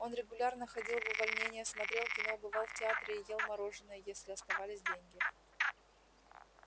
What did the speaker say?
он регулярно ходил в увольнения смотрел кино бывал в театре и ел мороженое если оставались деньги